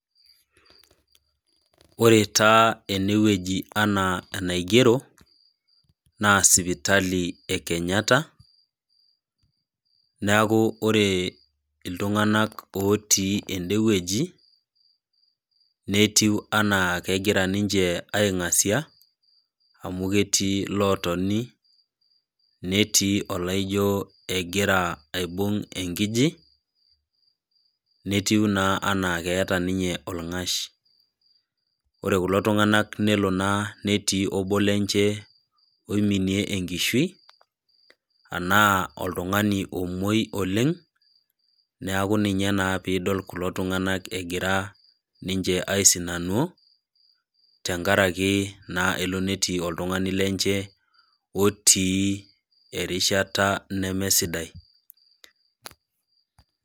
Ore taa enewueji anaa enaigero naa sipitali e Kenyatta, neaku ore iltung'anak otii enewueji netiu anaa kegira ninche aing'asia amu ketii lotoni netii olaijo egira aibung' enkiji netiu naa anaa keeta ninye olng'ash. Ore kulo tung'anak nelo naa netii obo lenche oiminie enkishui anaa oltung'ani omuoi oleng', neaku ninye naa piidol kulo tung'anak egira ninche aisinanuo tengaraki naa elo netii oltung'ani lenche otii erishata nemesidai.